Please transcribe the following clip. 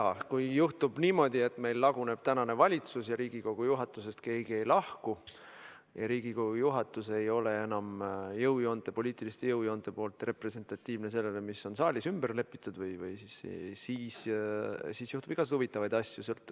Jaa, kui juhtub niimoodi, et meil laguneb valitsus ja Riigikogu juhatusest keegi ei lahku ja Riigikogu juhatus ei ole enam poliitiliste jõujoonte poolest representatiivne sellega, mis on saalis ja mis on ümber pööratud, siis juhtub igasugu huvitavaid asju.